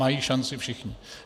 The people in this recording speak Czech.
Mají šanci všichni.